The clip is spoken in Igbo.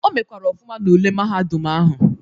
O mekwara ọfụma n'ule mahadum ahụ.